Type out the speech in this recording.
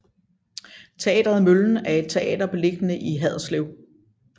Teatret Møllen er et teater beliggende i Haderslev